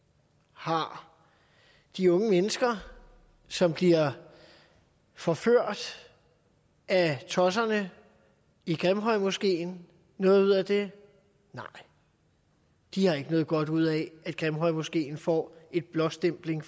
har de unge mennesker som bliver forført af tosserne i grimhøjmoskeen noget ud af det nej de har ikke noget godt ud af at grimhøjmoskeen får en blåstempling